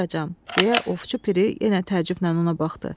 Nə buyuracam, deyə Ovçu Piri yenə təəccüblə ona baxdı.